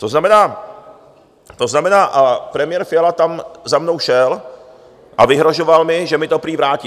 To znamená - a premiér Fiala tam za mnou šel a vyhrožoval mi, že mi to prý vrátí.